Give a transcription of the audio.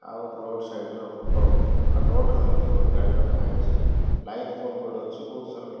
ଆଉ ଗୋଟେ road side ର ଫୋଟ ଆଉ ରୋଡ଼ ରେ ମଧ୍ୟ ଗୋଟେ ଗାଡି ରଖାଯାଇଛି ଲାଇଟ୍ ପୋଲ ଗୋଟେ ଅଛି ବହୁତ୍ ସାରା --